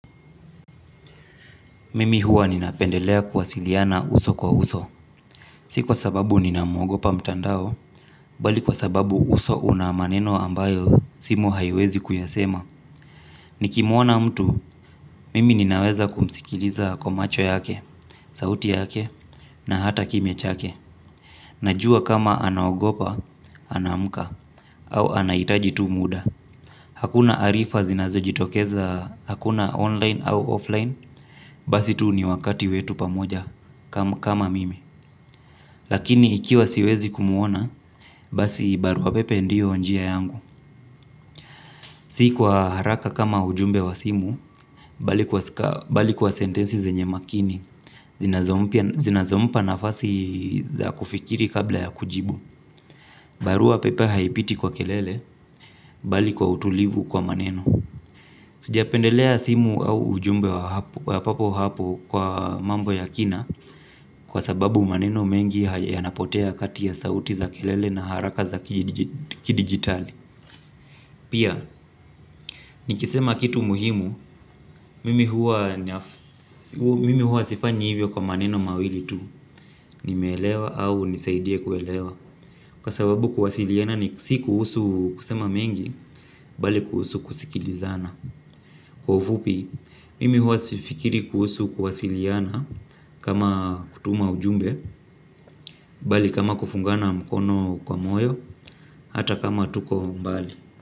Mimi huwa ninapendelea kuwasiliana uso kwa uso. Si kwa sababu ninamogopa mtandao, bali kwa sababu uso una maneno ambayo simu haiwezi kuyasema. Nikimuona mtu, mimi ninaweza kumsikiliza kwa macho yake, sauti yake, na hata kimya chake. Najua kama anagopa, anaamka, au anahitaji tu muda. Hakuna arifa zinazo jitokeza, hakuna online au offline, basi tu ni wakati wetu pamoja kama mimi lakini ikiwa siwezi kumuona basi barua pepe ndio njia yangu. Si lwa haraka kama ujumbe wa simu. Bali kwa sentensi zenye makini zinazo. Zinazompa nafasi za kufikiri kabla ya kujibu. Barua pepe haipiti kwa kelele. Bali kwa utulivu kwa maneno. Sijapendelea simu au ujumbe wa hapo kwa happ. Kwa mambo ya kina kwa sababu maneno mengi yanapotea kati ya sauti za kelele na haraka za kidigitali. Pia, nikisema kitu muhimu mimi huwa sifanyi hivyo kwa maneno mawili tu. Nimeelewa au nisaidie kuelewa. Kwa sababu kuwasiliana ni si kuhusu kusema mengi bali kuhusu kusikilizana. Kwa ufupi, mimi huwa sifikiri kuhusu kuwasiliana. Kama kutuma ujumbe bali kama kufungana mkono kwa moyo. Hata kama tuko mbali.